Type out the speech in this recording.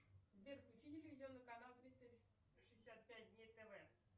сбер включи телевизионный канал триста шестьдесят пять дней тв